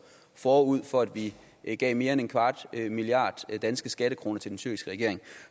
forud for at vi gav mere end en kvart milliard danske skattekroner til den tyrkiske regering